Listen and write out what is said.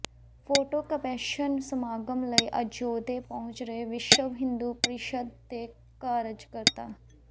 photo caption ਸਮਾਗਮ ਲਈ ਅਯੋਧਿਆ ਪਹੁੰਚ ਰਹੇ ਵਿਸ਼ਵ ਹਿੰਦੂ ਪਰੀਸ਼ਦ ਦੇ ਕਾਰਜਕਰਤਾ